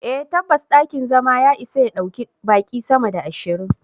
Eh tabbas dakin zama ya isa ya ɗauki baqi sama da ashirin.